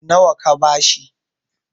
nawa ka ba shi?